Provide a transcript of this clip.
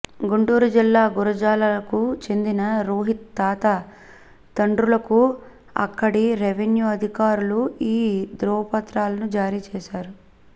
గుంటూరు జిల్లా గురజాలకు చెందిన రోహిత్ తాత తండ్రులకు అక్కడి రెవిన్యూ అధికారులు ఈ ధ్రువపత్రాలను జారీ చేశారు